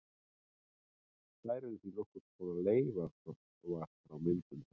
Þær eru því nokkurs konar leifar frá myndun þess.